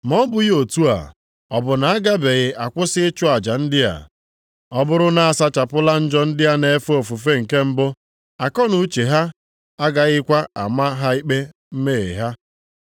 Ma ọ bụghị otu a, ọ bụ na a gabeghị akwụsị ịchụ aja ndị a? Ọ bụrụ na a sachapụla njọ ndị na-efe ofufe na mbụ, akọnuche ha agaghịkwa ama ha ikpe mmehie ha.